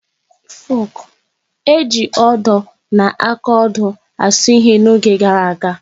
Ejiiri odo na akaodo asụ ihe n'oge gara aga.